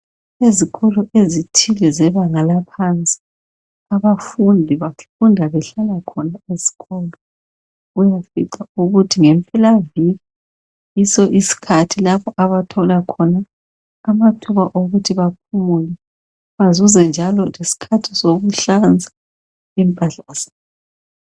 Ezikolo ezithile zebanga laphansi abafundi bafunda behlala khona esikolo uyafica ukuthi ngempelaviki yiso isikhathi lapho abathola khona amathuba okuthi baphumule bazuze njalo lesikhathi sokuhlanza impahla zabo.